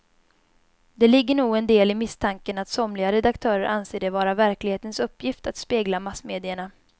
Det ligger nog en del i misstanken att somliga redaktörer anser det vara verklighetens uppgift att spegla massmedierna.